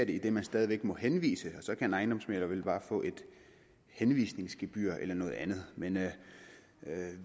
idet man stadig væk må henvise og så kan en ejendomsmægler vel bare få et henvisningsgebyr eller noget andet men